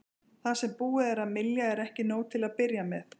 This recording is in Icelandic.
Það sem búið er að mylja er ekki nóg til að byrja með.